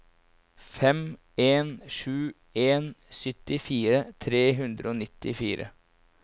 fem en sju en syttifire tre hundre og nittifire